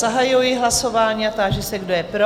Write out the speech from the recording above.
Zahajuji hlasování a táži se, kdo je pro?